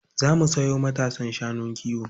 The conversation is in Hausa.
Za mu sayo matasan shanun kiwo.